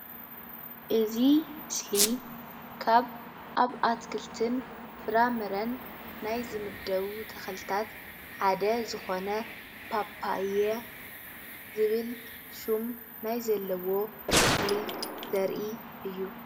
እዚ ምስሊ ካብ ኣብ ኣትክልትን ፍራ ምረን ናይ ዝምደቡ ተክልታት ሓደ ዝኮነ ፓፓየ ዝብል ሽም ናይ ዘለዎ ተክሊ ዘርኢ እዩ፡፡